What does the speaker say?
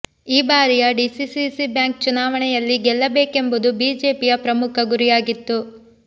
ಈ ಬಾರಿಯ DCC bank ಚುನಾವಣೆಯಲ್ಲಿ ಗೆಲ್ಲಬೇಕೆಂಬುದು ಬಿಜೆಪಿಯ ಪ್ರಮುಖ ಗುರಿಯಾಗಿತ್ತು